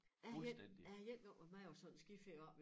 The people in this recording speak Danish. Jeg har én jeg har én gang været med på sådan en skiferie også